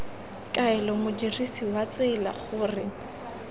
kaela modirsi wa tsela gore